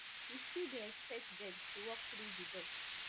we still dey expect dem to walk through di door